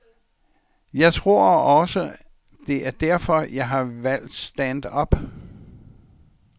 Jeg tror også, det er derfor, jeg har valgt stand-up.